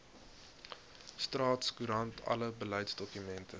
staatskoerant alle beleidsdokumente